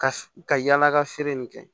Ka yala ka feere nin kɛ